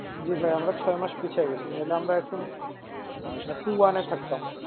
জি ভাই আমরা ছয় মাস পিছিয়ে গেছি নাইলে আমরা এখন এ থাকতাম।